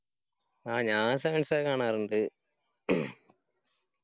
ആ ഞാൻ sevens ഒക്കെ കാണാറിണ്ട്